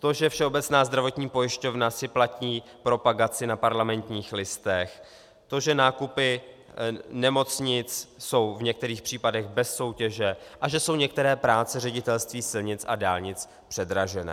To, že Všeobecná zdravotní pojišťovna si platí propagaci na Parlamentních listech, to, že nákupy nemocnic jsou v některých případech bez soutěže a že jsou některé práce Ředitelství silnic a dálnic předražené.